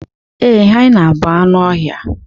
ee, hyena bụ anụ ọhịa